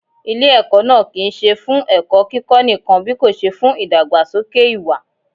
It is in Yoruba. Ilé ẹ̀kọ́ náà kì ń ṣe fún ẹ̀kọ́ kíkó nìkan bíkòṣe fún ìdàgbàsókè ìwà.